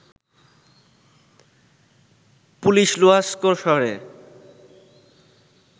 police Luhansk শহরে